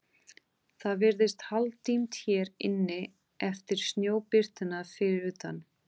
Það virðist hálfdimmt hér inni eftir snjóbirtuna fyrir utan.